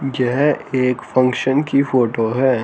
यह एक फंक्शन की फोटो है।